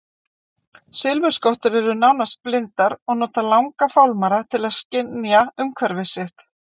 Silfurskottur eru nánast blindar og nota langa fálmara til að skynja umhverfi sitt.